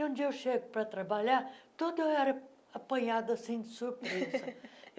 E, um dia, eu chego para trabalhar, toda era apanhada, assim, de surpresa.